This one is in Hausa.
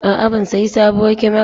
A'a, ban sayi sabuwar kyamara ba.